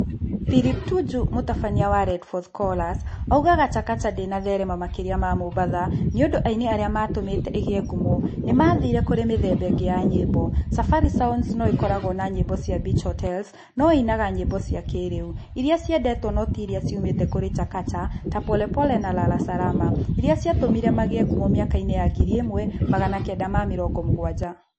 Philip Tuju, mũtabania wa Red Fourth Chorus oigaga Chakacha ndĩanathereema makĩria ma Mombatha nĩ ũndũ aini arĩa matũmĩte ĩgie ngumo ni mathiire kũrĩ mĩthemba ĩngĩ ya nyĩmbo:Safari Sounds no ĩkoragwo na nyĩmbo cia beach hotels no ĩinaga nyĩmbo cia kĩĩrĩu iria ciendetwo no tĩ iria ciumĩte kũrĩ Chakacha ta pole pole na lala Salama iria ciatũmire magĩe ngumo mĩaka-inĩ ya 1970s.